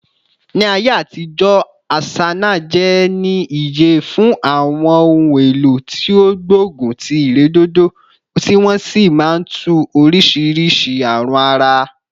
Ni aye atijo, asanaje ni iye fun awon ohun elo ti o gbogun ti iredodo, ti won si maa n tu orisiirisii arun ara